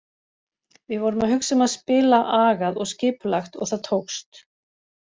Við vorum að hugsa um að spila agað og skipulagt og það tókst.